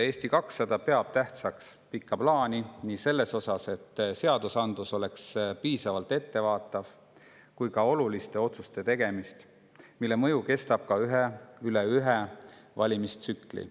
Eesti 200 peab tähtsaks pikka plaani nii selles mõttes, et seadusandlus oleks piisavalt ettevaatav, kui ka oluliste otsuste tegemist, mille mõju kestab ka üle ühe valimistsükli.